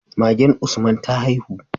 Magen Usman ta haihu